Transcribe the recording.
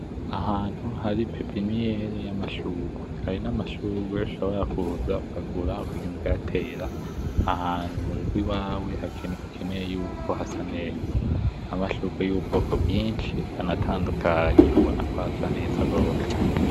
Ahantu hari pepinyeri yam'amashurwe, ayo n'amashurwe ushobora kuza ukagura ukagenda ukayatera ahantu mu rugo iwawe ukeneye yuko hasa neza, amashurwe y'ubwoko bwinshi anatandukanye ubona kw'asa neza gose.